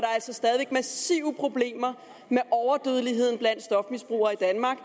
er altså stadig væk massive problemer med overdødelighed blandt stofmisbrugere i danmark